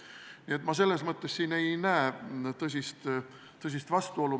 Nii et ma selles mõttes siin ei näe tõsist vastuolu.